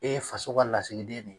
E ye faso ka lasigiden de ye.